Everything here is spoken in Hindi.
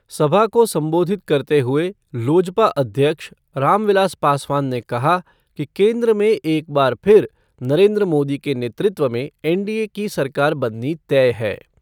सभा को संबोधित करते हुये लोजपा अध्यक्ष रामविलास पासवान ने कहा कि केन्द्र में एक बार फिर नरेन्द्र मोदी के नेतृत्व में एनडीए की सरकार बननी तय है।